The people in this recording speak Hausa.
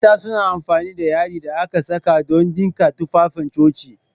Mata suna amfani da yadin da aka saka don dinka tufafin coci